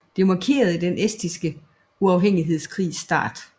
Dette markerede den estiske uafhængighedskrigs start